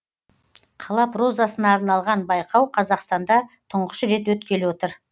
қала прозасына арналған байқау қазақстанда тұңғыш рет өткелі отыр